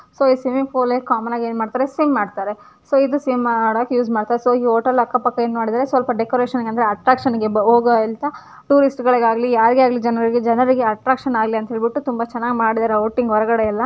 So ಇದ swimming pool ನಲ್ಲಿ common ಆಗಿ ಏನ್ಮಾಡ್ತಾರೆ ಸ್ವಿಮ್ ಮಾಡ್ತಾರೆ ಸೊ ಇದ ಸ್ವಿಮ್ ಮಾಡಾಕ್ ಯೂಸ್ ಮಾಡ್ತಾರ್ ಸೊ ಈ ಹೋಟೆಲ್ ಅಕ್ಕ ಪಕ್ಕ ಏನ್ಮಾಡಿದಾರೆ ಸ್ವಲ್ಪ ಡೆಕೋರೇಷನ್ಗೆ ಅಂದ್ರೆ ಅಟ್ರಾಕ್ಷನ್ ಗೆ ಟೂರಿಸ್ಟ್ ಗಳಿಗಾಗಲಿ ಯಾರಿಗೆಯಾಗಲಿ ಜನರಿಗೆ ಜನರಿಗೆ ಅಟ್ರಾಕ್ಷನ್ ಆಗಲಿ ಅಂತ ಹೇಳ್ಬಿಟ್ಟು ತುಂಬಾ ಚೆನ್ನಾಗಿ ಮಾಡಿದಾರೆ ಔಟಿಂಗ್ ಹೊರಗಡೆ ಎಲ್ಲ.